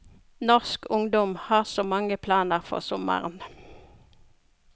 Norsk ungdom har så mange planer for sommeren.